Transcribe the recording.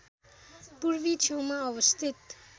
पूर्वी छेउमा अवस्थित